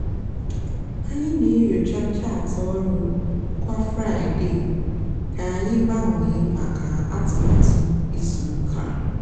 ányị nà-ènyocha chaatị ọrụ kwá fraịde kà ányị gbanwee mákà atụmatụ ízú úkà.